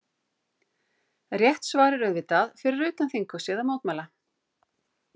Rétt svar er auðvitað: Fyrir utan þinghúsið að mótmæla.